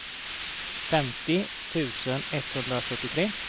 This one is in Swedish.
femtio tusen etthundrafyrtiotre